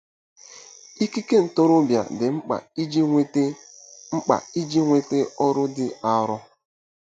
Ikike ntorobịa dị mkpa iji nweta mkpa iji nweta ọrụ dị arọ.